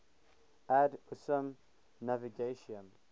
ad usum navigatium